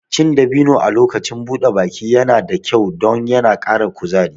Cin dabino a lokacin buɗe baki yana da kyau don yana ƙara kuzari